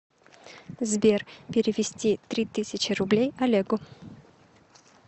сбер перевести три тысячи рублей олегу